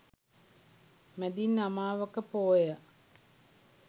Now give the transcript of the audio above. මැදින් අමාවක පෝය